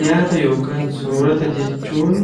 Nyaata (soorata) jechuun